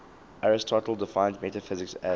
aristotle defines metaphysics as